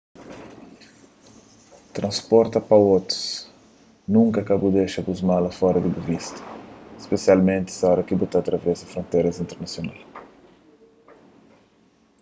transporta pa otus nunka ka bu dexa bu malas fora di bu vista spesialmenti oras ki bu sa ta travesa fronteras internasional